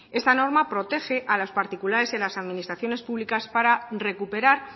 esta norma protege a los particulares y a las administraciones públicas para recuperar